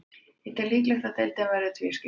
Ég tel líklegt að deildin verði tvískipt.